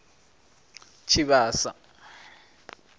tshivhasa